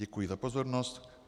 Děkuji za pozornost.